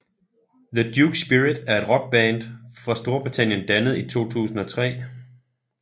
The Duke Spirit er en rockband fra Storbritannien dannet i 2003